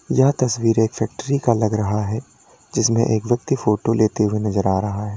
यह तस्वीर एक फैक्ट्री का लग रहा है जिसमें एक व्यक्ति फोटो लेते हुए नजर आ रहा है।